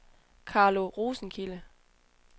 Carlo Rosenkilde